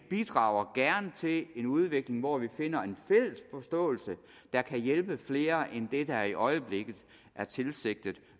bidrager til en udvikling hvor vi finder en fælles forståelse der kan hjælpe flere end det der i øjeblikket er tilsigtet